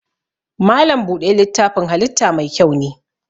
Malam buɗe littafin halitta mai kyau ne.